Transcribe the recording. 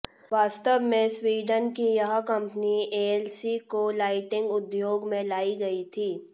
वास्तव में स्वीडन की यह कंपनी एएलसी को लाइटिंग उद्योग में लाई गई थी